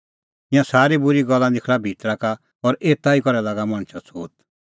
ईंयां सारी बूरी गल्ला निखल़ा भितरा का और एता ई करै लागा मणछा छ़ोत